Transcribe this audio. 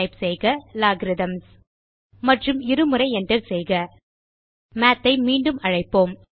type செய்க Logarithms மற்றும் இரு முறை Enter செய்க மாத் ஐ மீண்டும் அழைப்போம்